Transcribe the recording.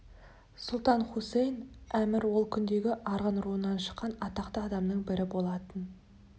сұлтан хусаин әмір ол күндегі арғын руынан шыққан атақты адамның бірі болатын